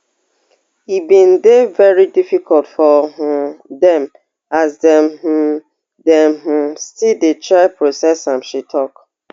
e bin dey veri difficult for um dem as dem um dem um still dey try process am she tok